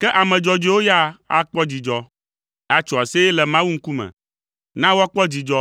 Ke ame dzɔdzɔewo ya akpɔ dzidzɔ, atso aseye le Mawu ŋkume; na woakpɔ dzidzɔ,